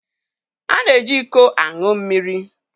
A na-eji iko aṅụ mmiri.